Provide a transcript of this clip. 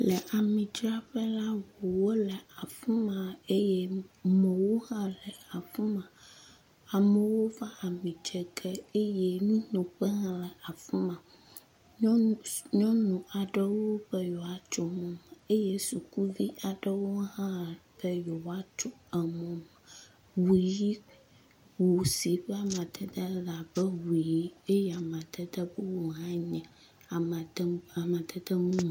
Le ami dzraƒe la, ŋuwo le afi ma eye mɔwo hã le afi ma, amewo va ami dze ge eye nunoƒe hã le afi ma, nyɔnu aɖewo be yewoatso mɔ me eye sukuvi aɖewo hã be yeoawoatso emɔ me, ŋu si ƒe amadede le abe amadede ʋi eye amadede bubu hãe nye amadede mumu